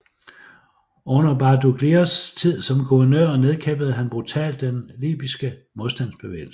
Under Badoglios tid som guvernør nedkæmpede han brutalt den libyske modstandsbevægelse